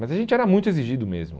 Mas a gente era muito exigido mesmo.